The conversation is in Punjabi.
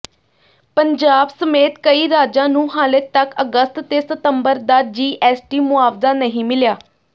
ਪੰਜਾਬ ਸਮੇਤ ਕਈ ਰਾਜਾਂ ਨੂੰ ਹਾਲੇ ਤੱਕ ਅਗਸਤ ਤੇ ਸਤੰਬਰ ਦਾ ਜੀਐਸਟੀ ਮੁਆਵਜ਼ਾ ਨਹੀਂ ਮਿਲਿਆ